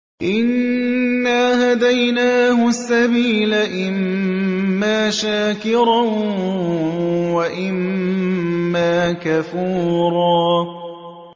إِنَّا هَدَيْنَاهُ السَّبِيلَ إِمَّا شَاكِرًا وَإِمَّا كَفُورًا